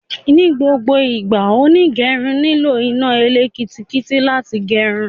Ní gbogbo ìgbà, onígẹrun nílò iná elekitiriki láti gerun